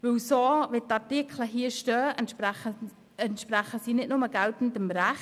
So, wie die Artikel hier stehen, entsprechen sie geltendem Recht.